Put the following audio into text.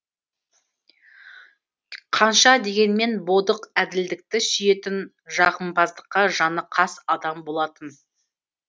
қанша дегенмен бодық әділдікті сүйетін жағымпаздыққа жаны қас адам болатын